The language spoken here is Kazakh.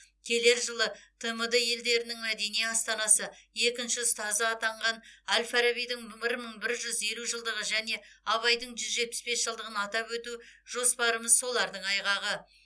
келер жылы тмд елдерінің мәдени астанасы екінші ұстаз атанған әл фарабидің бір мың бір жүз елу жылдығы және абайдың жүз жетпіс бес жылдығын атап өту жоспарымыз солардың айғағы